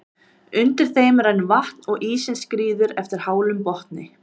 Undir þeim rennur vatn og ísinn skríður eftir hálum botni.